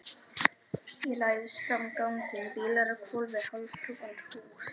Ég læðist fram ganginn, bílar á hvolfi, hálfhrunin hús.